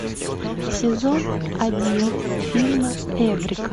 сезон один фильма эврика